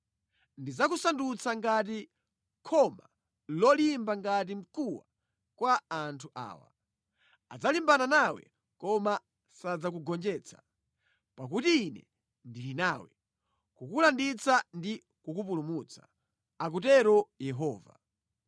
Ndidzakusandutsa ngati khoma lolimba ngati mkuwa kwa anthu awa. Adzalimbana nawe koma sadzakugonjetsa, pakuti Ine ndili nawe kukulanditsa ndi kukupulumutsa,” akutero Yehova.